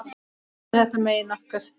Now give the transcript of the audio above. Ætli þetta megi nokkuð?